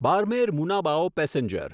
Barmer Munabao passenger